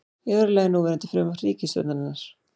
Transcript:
Í öðru lagi núverandi frumvarp ríkisstjórnarinnar